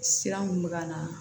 Sira mun bɛ ka na